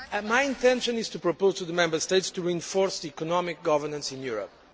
My intention is to propose to the Member States to reinforce economic governance in Europe.